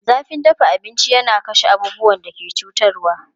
Zafin dafa abinci yana kashe abubuwan da ke cutarwa.